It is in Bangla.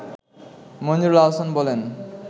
মনজুরুল আহসান বলেন